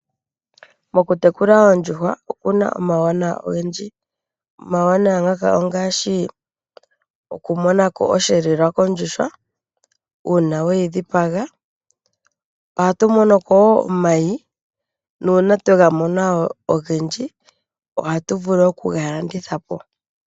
Mokutekula oondjuhwa okuna omawuwanawa ogendji. Omawuwanawa ngaka ongaashi okumona ko oshiyelewa kondjuhwa, uuna we yi dhipaga. Ohatu mono ko wo omayi, nuuna twega mona ogendji ohatu vulu oku ga landitha po.